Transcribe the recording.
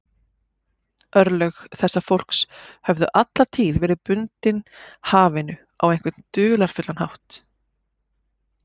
Örlög þessa fólks höfðu alla tíð verið bundin hafinu á einhvern dularfullan hátt.